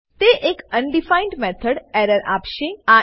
તે એક undefined method error આપશે